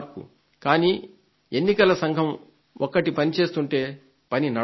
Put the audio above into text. కానీ ఎన్నికల సంఘం ఒక్కటే పని చేస్తుంటే పని నడవదు